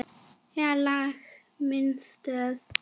Fínleg mistök.